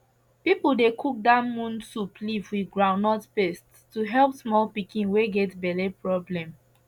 people dey cook dat moon soup leaf with groundnut paste to help small pikin wey get belle problem